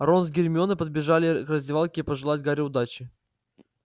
рон с гермионой подбежали к раздевалке пожелать гарри удачи